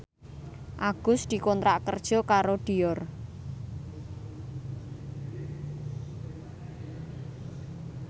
Agus dikontrak kerja karo Dior